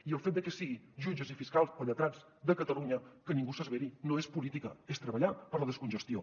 i el fet de que siguin jutges i fiscals o lletrats de catalunya que ningú s’esveri no és política és treballar per la descongestió